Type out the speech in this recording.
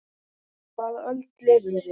Á hvaða öld lifum við?